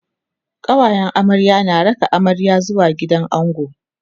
kawayen amarya na raka amarya zuwa gidan ango